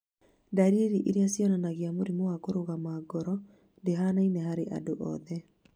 Ndariri iria cionanagia mũrimũ wa kũrũgama ngoro ndũhanaine harĩ andũ othe.